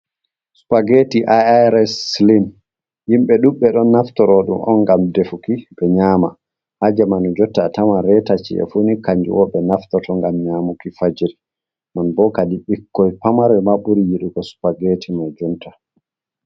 Supagetti iiras slim yimbe duɓbe don naftorodum on gam defuki be nyama hajemani jotta a taman retaci a funi kanjiwobe naftoto, ngam nyamuki fajri non bokadi bikkoi pamare maburi yidugo spageti mo junta.